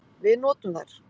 Við notum þær.